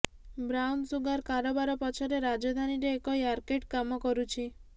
brown sugar କାରବାର ପଛରେ ରାଜଧାନୀରେ ଏକ ର୍ୟାକେଟ୍ କାମ କରୁଛି